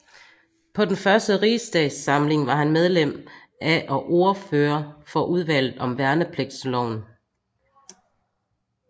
På den første rigsdagssamling var han medlem af og ordfører for udvalget om Værnepligtsloven